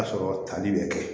A sɔrɔ tali bɛ kɛ